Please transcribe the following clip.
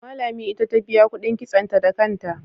Amma Lami ita ta biya kuɗin kitsonta da kanta.